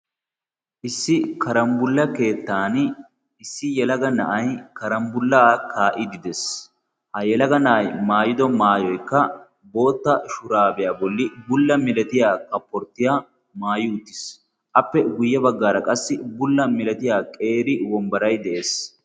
issi karambbulla keettan issi yalaga na'ay karambbullaa kaa'idi dees ha yalaga na'ay maayido maayoykka bootta shuraabiyaa bolli bulla milatiya kapporttiyaa maayi utiis appe guyye baggaara qassi bulla milatiya qeeri wombbarai de'ees